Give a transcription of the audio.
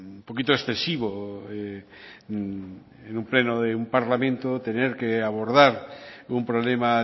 un poquito excesivo en un pleno de parlamento tener que abordar un problema